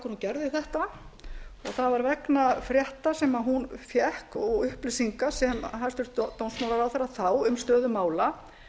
gerði þetta það var vegna frétta sem hún fékk og upplýsinga sem hæstvirtur dómsmálaráðherra þá um stöðu mála